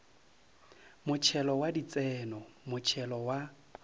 motšhelo wa ditseno motšhelo wa